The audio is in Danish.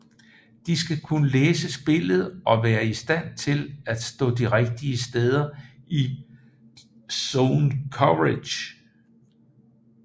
De skal kunne læse spillet og være i stand til at stå de rigtige steder i zone coverage